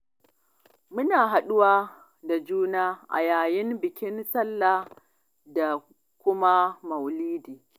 Muna haɗu wa da juna a yayin bikin Sallah da kuma Maulidi.